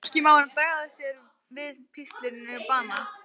Hvorki má hann bregða sér við píslir né bana.